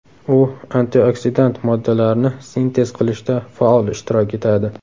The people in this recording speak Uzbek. U antioksidant moddalarni sintez qilishda faol ishtirok etadi.